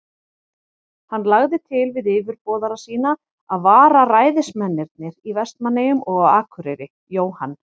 Hann lagði til við yfirboðara sína, að vararæðismennirnir í Vestmannaeyjum og á Akureyri, Jóhann